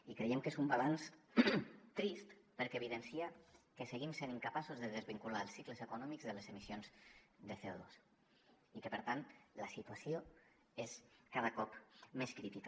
i creiem que és un balanç trist perquè evidencia que seguim sent incapaços de desvincular els cicles econòmics de les emissions de cocada cop més crítica